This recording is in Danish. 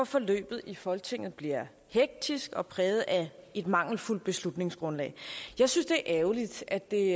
forløbet i folketinget bliver hektisk og præget af et mangelfuldt beslutningsgrundlag jeg synes det er ærgerligt at det